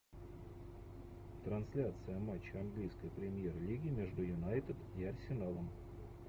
трансляция матча английской премьер лиги между юнайтед и арсеналом